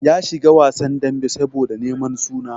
Ya shiga wasan dambe saboda neman suna.